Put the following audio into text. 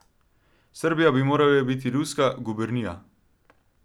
Srbija bi morala biti ruska gubernija.